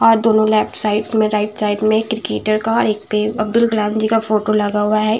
और दोनो left side में राइट साइड में क्रिकेटर का और एक पे अब्दुल कलाम जी का फोटो लगा हुआ है।